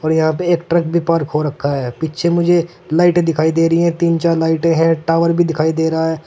और यहां पे एक ट्रक भी पार्क हो रखा है पीछे मुझे लाइटें दिखाई दे रही है तीन चार लाइटें है टावर भी दिखाई दे रहा है।